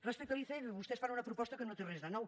respecte a l’icf vostès fan una proposta que no té res de nou